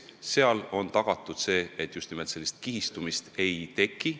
Nii ongi tagatud, et kihistumist ei teki.